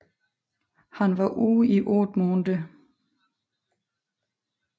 Han var ude i otte måneder